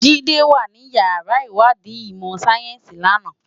Jide wá ni iyàrá iwádi imò sáyénsi làná